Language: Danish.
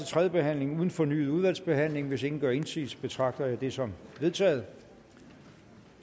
tredje behandling uden fornyet udvalgsbehandling hvis ingen gør indsigelse betragter jeg det som vedtaget